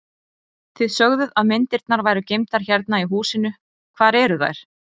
Þið sögðuð að myndirnar væru geymdar hérna í húsinu, hvar eru þær?